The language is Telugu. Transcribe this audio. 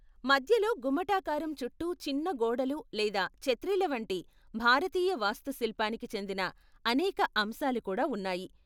మధ్యలో గుమ్మటాకారం చుట్టూ చిన్న గొడుగులు లేదా ఛత్రీల వంటి భారతీయ వాస్తుశిల్పానికి చెందిన అనేక అంశాలు కూడా ఉన్నాయి.